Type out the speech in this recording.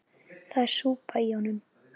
Það er súpa í honum.